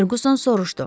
Ferquson soruşdu.